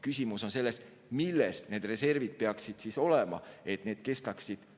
Küsimus on selles, milles need reservid peaksid olema, et need kestaksid.